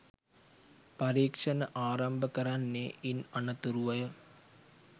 පරීක්‍ෂණ ආරම්භ කරන්නේ ඉන් අනතුරුවය.